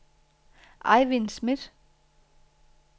Ejvind Smidt